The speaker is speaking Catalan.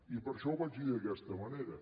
i per això ho vaig dir d’aquesta manera